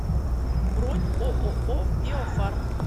бронь ооо биофарм